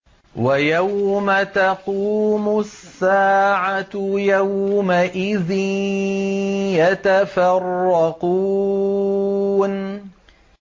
وَيَوْمَ تَقُومُ السَّاعَةُ يَوْمَئِذٍ يَتَفَرَّقُونَ